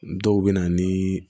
Dɔw bɛ na ni